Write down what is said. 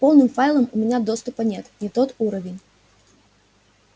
к полным файлам у меня доступа нет не тот уровень